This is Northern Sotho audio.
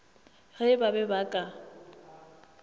ge ba be ba ka